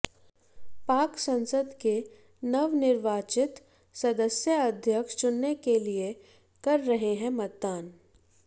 पाक संसद के नवनिर्वाचित सदस्य अध्यक्ष चुनने के लिए कर रहे है मतदान